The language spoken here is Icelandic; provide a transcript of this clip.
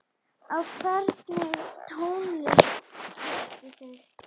Á hvernig tónlist hlustið þið?